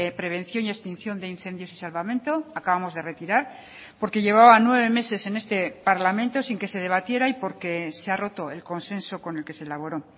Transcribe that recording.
prevención y extinción de incendios y salvamento acabamos de retirar porque llevaba nueve meses en este parlamento sin que se debatiera y porque se ha roto el consenso con el que se elaboró